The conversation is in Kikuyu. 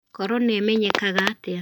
Corona ĩmenyekaga atĩa?